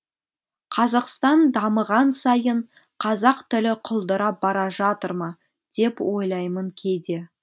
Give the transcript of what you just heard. қазақстан дамыған сайын қазақ тілі құлдырап бара жатыр ма деп ойлаймын кейде